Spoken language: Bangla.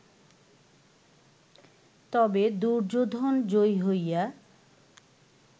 তবে দুর্যোধন জয়ী হইয়া